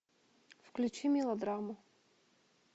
включи мелодраму